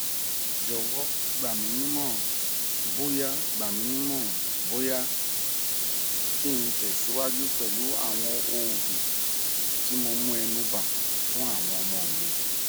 jowo gbaminimoran boya gbaminimoran boya ki n tesiwaju pelu awon oogun ti mo mu enuba funawon omo mi